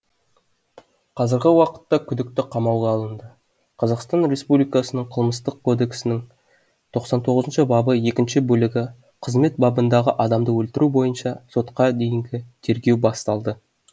қазіргі уақытта күдікті қамауға алынды қазақстан республикасының қылмыстық кодексінің тоқсан тоғызыншы бабы екінші бөлігі қызмет бабындағы адамды өлтіру бойынша сотқа дейінгі тергеу басталды